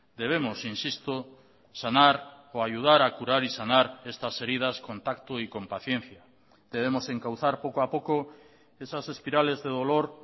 debemos insisto sanar o ayudar a curar y sanar estas heridas con tacto y con paciencia debemos encauzar poco a poco esas espirales de dolor